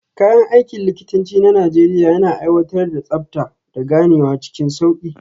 Kayan aikin likitanci na Najeriya yana aiwatar da tsabta, da ganewa cikin sauki.